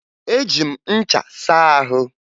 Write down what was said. Eji m ncha saa ahụ